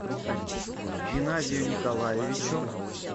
геннадию николаевичу